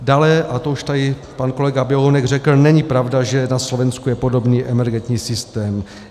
Dále, a to už tady pan kolega Běhounek řekl, není pravda, že na Slovensku je podobný emergentní systém.